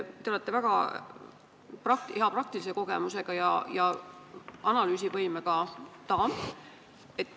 Te olete väga suure praktilise kogemusega ja hea analüüsivõimega daam.